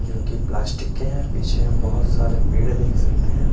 जोकि प्लास्टिक के हैं पीछे हम बहोत सारे पेड़ देख सकते हैं।